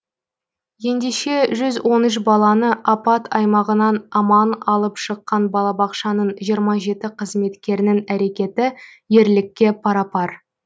ендеше жүз он үш баланы апат аймағынан аман алып шыққан балабақшаның жиырма жеті қызметкерінің әрекеті ерлікке парапар